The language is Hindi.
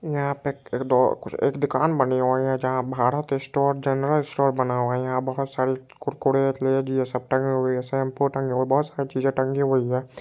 यहाँ पे एक ड एक दूकान बनी हुई है जहा भारत स्टोर जनरल स्टोर बना हुआ है यहाँ बहुत सारे कुड़कुड़े ये सब टंगे हुए हैं शैम्पू टंगी हुई है बहुत सारी चीज़े टंगी हुई है।